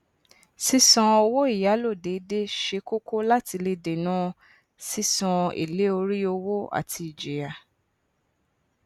sísan owó ìyálò déédé ṣe kóko láti lè dèná sísan èlé orí owó àti ìjìyà